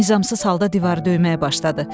Nizamsız halda divarı döyməyə başladı.